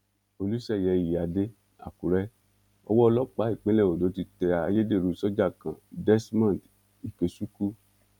olùṣeyẹ ìyíáde àkùrẹ owó ọlọpàá ìpínlẹ ondo ti tẹ ayédèrú sójà kan desmond ikechukwu